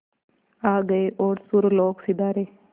आ गए और सुरलोक सिधारे